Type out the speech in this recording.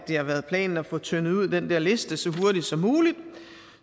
har været planen at få tyndet ud i den der liste så hurtigt som muligt